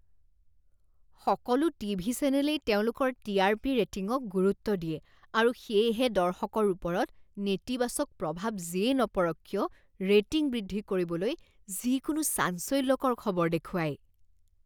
সকলো টিভি চেনেলেই তেওঁলোকৰ টি আৰ পি ৰেটিঙক গুৰুত্ব দিয়ে আৰু সেয়েহে দৰ্শকৰ ওপৰত নেতিবাচক প্ৰভাৱ যিয়েই নপৰক কিয় ৰেটিং বৃদ্ধি কৰিবলৈ যিকোনো চাঞ্চল্যকৰ খবৰ দেখুৱায়।